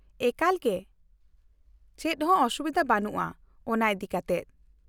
-ᱮᱠᱟᱞᱜᱮ! ᱪᱮᱫᱦᱚᱸ ᱚᱥᱩᱵᱤᱫᱷᱟ ᱵᱟᱹᱱᱩᱜᱼᱟ ᱚᱱᱟ ᱤᱫᱤ ᱠᱟᱛᱮ ᱾